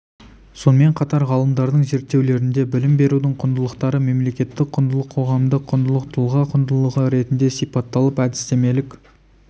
сонымен қатар ғалымдардың зерттеулерінде білім берудің құндылықтары мемлекеттік құндылық қоғамдық құндылық тұлға құндылығы ретінде сипатталып әдістемелік